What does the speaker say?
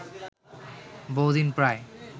বহুদিন প্রায়